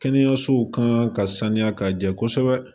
Kɛnɛyasow kan ka sanuya ka jɛ kosɛbɛ